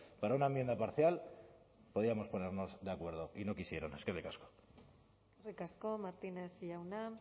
para una enmienda parcial podíamos ponernos de acuerdo y no quisieron eskerrik asko eskerrik asko martínez jauna